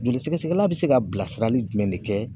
Joli sɛgɛsɛgɛla be se ka bila sirali jumɛn de kɛ